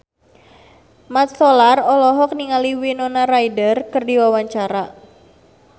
Mat Solar olohok ningali Winona Ryder keur diwawancara